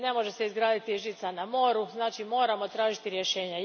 Ne može se izgraditi žica na moru, znači moramo tražiti rješenje.